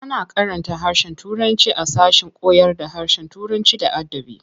A na karanta harshen turanci a sashen koyarda harshen Turanci da adabi.